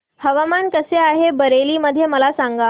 हवामान कसे आहे बरेली मध्ये मला सांगा